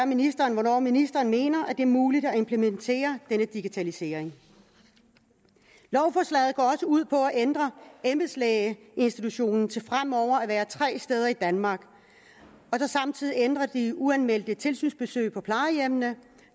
ministeren hvornår ministeren mener at det er muligt at implementere denne digitalisering lovforslaget går også ud på at ændre embedslægeinstitutionen til fremover at være tre steder i danmark og så samtidig ændre de uanmeldte tilsynsbesøg på plejehjemmene